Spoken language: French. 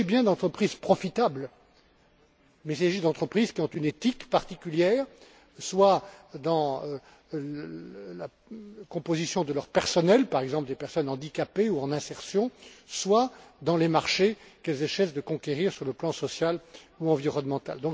Il s'agit bien d'entreprises rentables, mais il s'agit aussi d'entreprises qui ont une éthique particulière, soit dans la composition de leur personnel, par exemple des personnes handicapées ou en insertion, soit dans les marchés qu'elles essaient de conquérir sur le plan social ou environnemental.